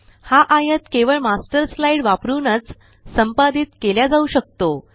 हा आयत केवळ मास्टर स्लाइड वापरूनच संपादित केल्या जाऊ शकतो